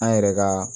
An yɛrɛ ka